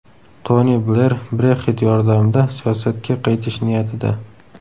Toni Bler Brexit yordamida siyosatga qaytish niyatida.